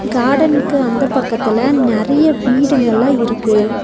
காடன்க்கு அந்த பக்கத்துல நெறைய வீடுங்கல்லா இருக்கு.